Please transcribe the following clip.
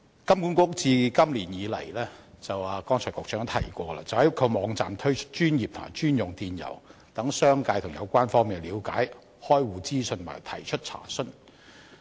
剛才局長也提到，金管局自今年開始在其網站推出專頁及專用電郵，讓商界和有關方面了解開戶資訊和提出查詢。